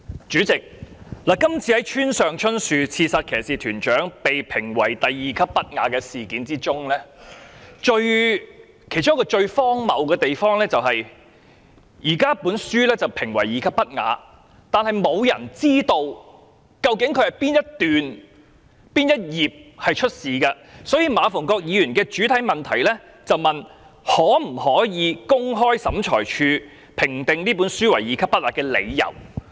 主席，今次村上春樹《刺殺騎士團長》一書被評為第 II 類物品，最荒謬的是，沒有人知道書中哪一章、哪一段屬不雅。所以馬逢國議員在主體質詢問及可否公開審裁處評定這本書為第 II 類物品的理由。